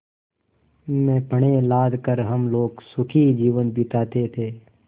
में पण्य लाद कर हम लोग सुखी जीवन बिताते थे